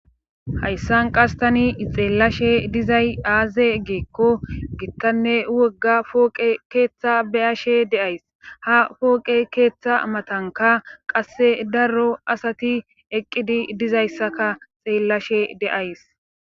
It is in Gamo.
hayssan qastani ixeellashe dizay aaze geekko gittanne wogga fooqe keeththa beyashe deays ha pooqe keeththa matanka qasse darro asati eqqidi dizayssaka xeellashe deays